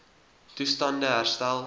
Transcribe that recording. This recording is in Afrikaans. toestand e herstel